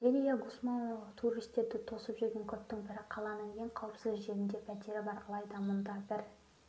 зелиа гусмао туристерді тосып жүрген көптің бірі қаланың ең қауіпсіз жерінде пәтері бар алайда мұнда бір